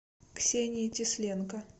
ксении тесленко